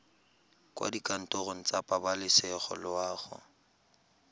kwa dikantorong tsa pabalesego loago